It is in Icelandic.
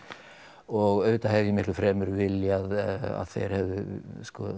og auðvitað hefði ég miklu fremur viljað að þeir hefðu sko